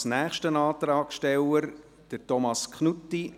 Als nächster Antragsteller Thomas Knutti.